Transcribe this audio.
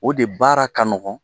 O de baara ka nɔgɔn